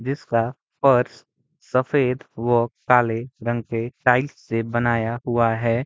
जिसका फ़र्श सफ़ेद व काले रंग के टाइल्स से बनाया हुआ है।